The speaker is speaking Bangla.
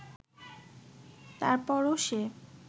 তারপরও সে